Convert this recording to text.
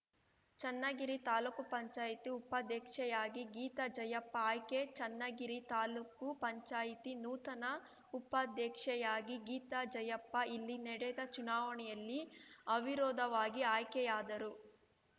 ಚನ್ನಗಿರಿ ತಾಲೂಕು ಪಂಚಾಯತಿ ಉಪಾಧ್ಯಕ್ಷೆಯಾಗಿ ಗೀತಾಜಯಪ್ಪ ಆಯ್ಕೆ ಚನ್ನಗಿರಿ ತಾಲೂಕು ಪಂಚಾಯಿತಿ ನೂತನ ಉಪಾಧ್ಯಕ್ಷೆಯಾಗಿ ಗೀತಾ ಜಯಪ್ಪ ಇಲ್ಲಿ ನಡೆದ ಚುನಾವಣೆಯಲ್ಲಿ ಅವಿರೋಧವಾಗಿ ಆಯ್ಕೆಯಾದರು